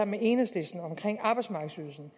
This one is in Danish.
med enhedslisten om arbejdsmarkedsydelsen